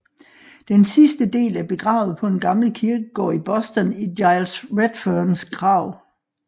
Den sidste del er begravet på en gammel kirkegård i Boston i Giles Redfernes grav